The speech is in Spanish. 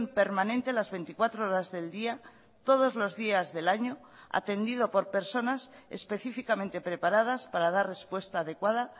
permanente las veinticuatro horas del día todos los días del año atendido por personas específicamente preparadas para dar respuesta adecuada